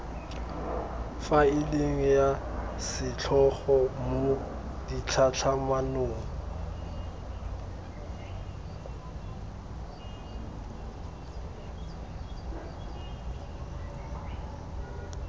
faeleng ya setlhogo mo ditlhatlhamanong